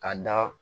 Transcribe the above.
Ka da